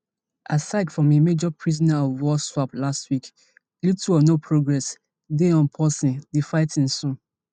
aside from a major prisoner of war swap last week little or no progress dey on pausing di fighting soon